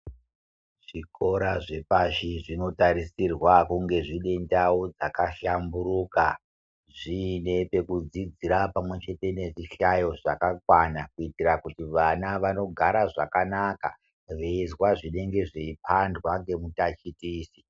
Zvikora zvepashi zvinotarisirwa kunge dziine ndao dzkahlamburuka zviine pekudzidzira pamwe chete nezvihlayo zvakakwana kuitira kuti vana vanogara zvakanaka veizwa zvinenge zveipandwa ngemutachitichi .